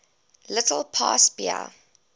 little past bahia